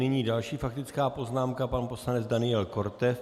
Nyní další faktická poznámka, pan poslanec Daniel Korte.